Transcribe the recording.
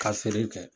Ka feere kɛ